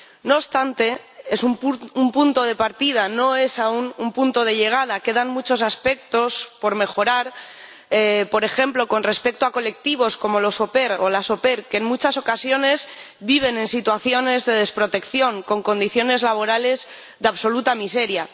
No obstante, es un punto de partida, no es aún un punto de llegada, quedan muchos aspectos por mejorar, por ejemplo, con respecto a colectivos como los au pair o las au pair que en muchas ocasiones viven en situaciones de desprotección, con condiciones laborales de absoluta miseria.